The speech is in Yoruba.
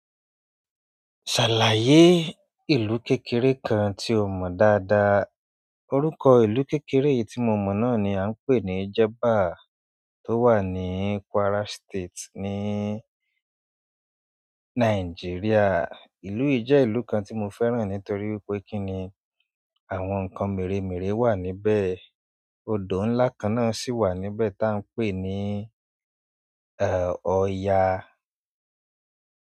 Ṣàlàyé ìlú kékeré kan tí o mọ̀ dáadáa. Òrúkọ ìlú kékeré tí mo mọ̀ náà ni a ń pè ní Jẹba tó wà ní Kwara State ní Nàìjíríà. Ìlú yi je ìlú kan ti mo fẹ́ràn nítorí wípé kini àwọn nkan meremere wa níbẹ̀ odò ńlá kan náà sì wà níbẹ̀ ta ń pè ní òyà.